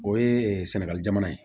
O ye sɛnɛgali jamana ye